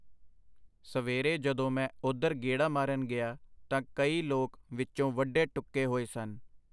ਸਵੇਰੇ ਜਦੋਂ ਮੈਂ ਉਧਰ ਗੇੜਾ ਮਾਰਨ ਗਿਆ ਤਾਂ ਕਈ ਲੋਕ ਵਿੱਚੋਂ ਵੱਢੇ ਟੁੱਕੇ ਹੋਏ ਸਨ.